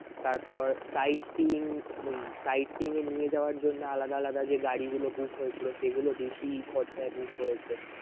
তারপর siteseeing~siteseeing এ নিয়ে যাওয়ার জন্য আলাদা আলাদা যে গাড়ি গুলো book হয়েছিল সেগুলো বেশি খরচায় book হয়েছে